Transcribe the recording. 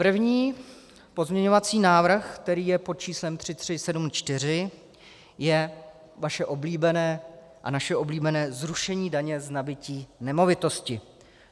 První pozměňovací návrh, který je pod číslem 3374, je vaše oblíbené a naše oblíbené zrušení daně z nabytí nemovitosti.